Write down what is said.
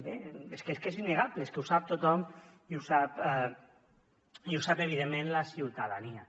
bé és que és innegable és que ho sap tothom i ho sap evidentment la ciutadania